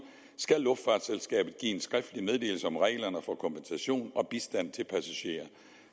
skal luftfartsselskabet give en skriftlig meddelelse om reglerne for kompensation og bistand til passagerer